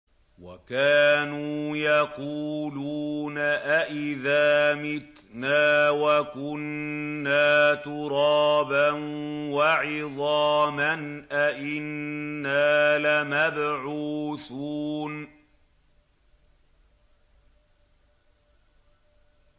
وَكَانُوا يَقُولُونَ أَئِذَا مِتْنَا وَكُنَّا تُرَابًا وَعِظَامًا أَإِنَّا لَمَبْعُوثُونَ